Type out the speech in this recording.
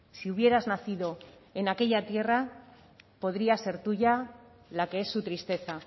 si hubieras nacido en aquella tierra podrías ser tuya la que es su tristeza